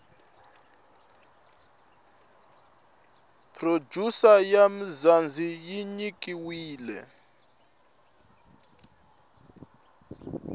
producer ya mzanzi yinyikiwile